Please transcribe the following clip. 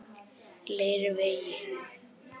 Leiruvegi